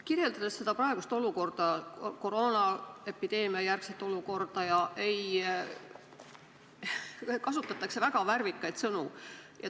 Kirjeldades praegust olukorda, koroonaepideemiajärgset olukorda, kasutatakse väga värvikaid sõnu.